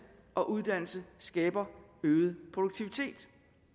og uddannelse skaber øget produktivitet